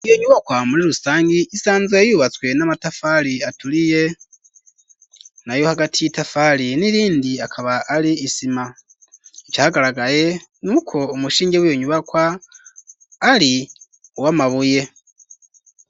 Iyo nyubakwa muri rusangi isanzwe yubatswe n'amatafari aturiye nayo hagati y'itafari n'irindi akaba ari isima, icagaragaye nuko umushinge wiyo nyubakwa ari uwamabuye.